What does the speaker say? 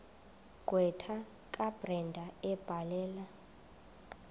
gqwetha kabrenda ebhalela